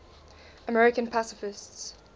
american pacifists